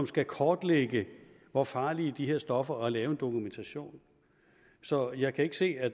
skal kortlægge hvor farlige de her stoffer er og lave en dokumentation så jeg kan ikke se at